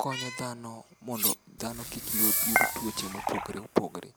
konyo dhano mondo dhano kik yud tuoche mopogre opogre.